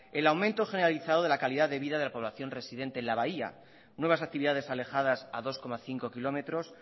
el aumento generalizado de la calidad de vida de la población residente en la bahía nuevas actividades alejadas a dos coma cinco kilómetros